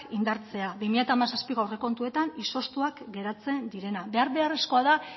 indartzea bi mila hamazazpiko aurrekontuetan izoztuak geratzen direnak behar beharrezkoa da